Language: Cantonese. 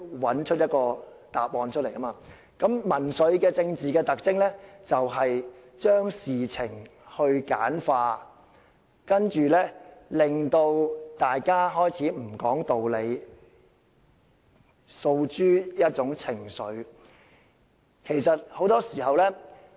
比起所謂找對手，我認為民粹其中一個更大的特徵，就是將事情簡化，令大家開始不講道理，然後訴諸一種情緒。